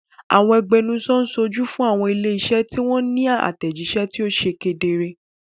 Àwọn agbẹnusọ ń ṣojú fún àwọn ilé-iṣẹ́ tí wọ́n ní àtẹ̀jíṣẹ́ tó ṣe kedere.